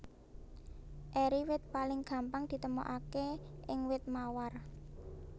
Eri wit paling gampang ditemokaké ing wit mawar